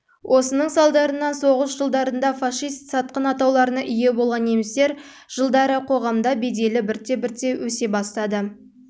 осының салдарынан соғыс жылдарында фашист сатқын атауларына ие болған немістер жылдары қоғамда беделі бірте-бірте өсе бастады